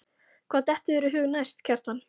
Hvað dettur þér í hug næst, Kjartan?